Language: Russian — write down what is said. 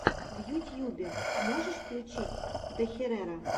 в ютьюбе можешь включить дехерера